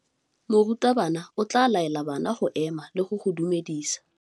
Morutabana o tla laela bana go ema le go go dumedisa.